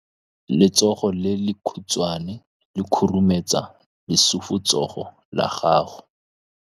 Letsogo le lekhutshwane le khurumetsa lesufutsogo la gago.